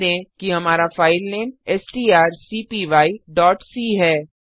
ध्यान दें कि हमारा फाइलनेमstrcpyc है